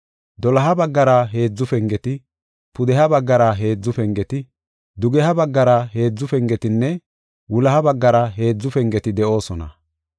Doloha baggara heedzu pengeti, pudeha baggara heedzu pengeti, dugeha baggara heedzu pengetinne wuloha baggara heedzu pengeti de7oosona.